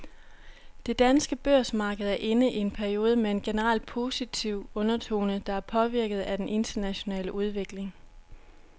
Det danske børsmarked er inde i en periode med en generelt positiv undertone, der er påvirket af den internationale udvikling.